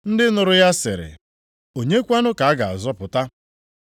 Ndị nụrụ ya sịrị, “Onye kwanụ ka a ga-azọpụta?”